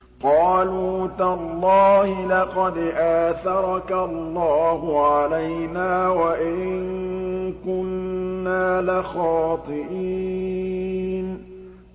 قَالُوا تَاللَّهِ لَقَدْ آثَرَكَ اللَّهُ عَلَيْنَا وَإِن كُنَّا لَخَاطِئِينَ